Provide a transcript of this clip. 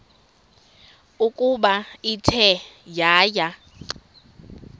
ukuba ithe yaya